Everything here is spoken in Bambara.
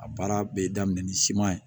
A baara bɛ daminɛ ni siman ye